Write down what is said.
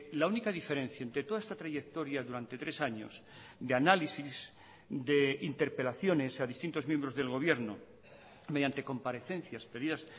la única diferencia entre toda esta trayectoria durante tres años de análisis de interpelaciones a distintos miembros del gobierno mediante comparecencias pedidas